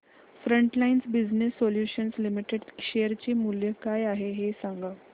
frontline Business Solutions Limited share चे मूल्य काय आहे हे सांगा